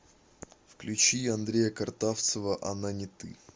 включи андрея картавцева она не ты